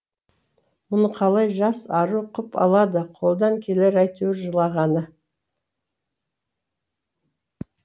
мұны қалай жас ару құп алады қолдан келер әйтеуір жылағаны